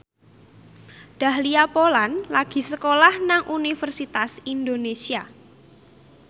Dahlia Poland lagi sekolah nang Universitas Indonesia